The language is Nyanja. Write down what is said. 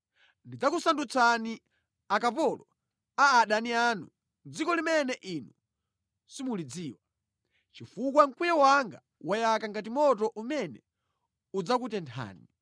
Ndidzakusandutsani akapolo a adani anu mʼdziko limene inu simulidziwa, chifukwa mkwiyo wanga wayaka ngati moto umene udzakutenthani.”